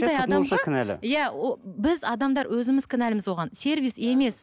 иә біз ыыы адамдар өзіміз кінәліміз оған сервис емес